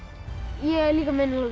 ég er líka